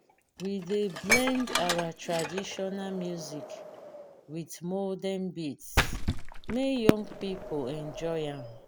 we dey blend our traditional music wit modern beats make young pipo enjoy am.